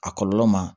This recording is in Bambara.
A kɔlɔlɔ ma